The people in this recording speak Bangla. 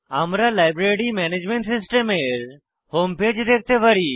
আমরা লাইব্রেরি ম্যানেজমেন্ট সিস্টেম এর হোম পেজ দেখতে পারি